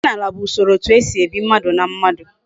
Omenala bu Usoro etu esi ebi, mmadu na mmadu